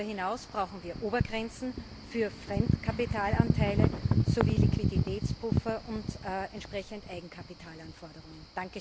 Aber darüber hinaus brauchen wir Obergrenzen für Fremdkapitalanteile sowie Liquiditätspuffer und entsprechend Eigenkapitalanforderungen.